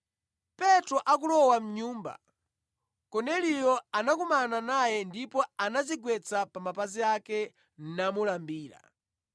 Petro akulowa mʼnyumba, Korneliyo anakumana naye ndipo anadzigwetsa pa mapazi ake namulambira.